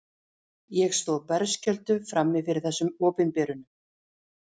Ég stóð berskjölduð frammi fyrir þessum opinberunum.